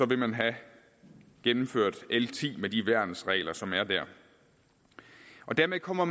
vil man have gennemført l ti med de værnsregler som er der dermed kommer